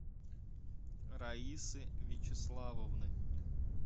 раисы вячеславовны